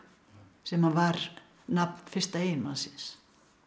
sem að var nafn fyrsta eiginmannsins